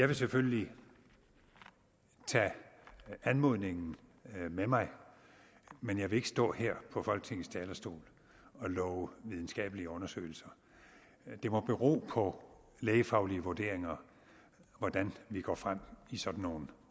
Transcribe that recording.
jeg selvfølgelig vil tage anmodningen med mig men jeg vil ikke stå her på folketingets talerstol og love videnskabelige undersøgelser det må bero på lægefaglige vurderinger hvordan vi går frem i sådan nogle